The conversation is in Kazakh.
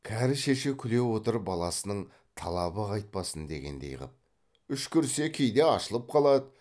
кәрі шеше күле отырып баласының талабы қайтпасын дегендей қып үшкірсе кейде ашылып қалады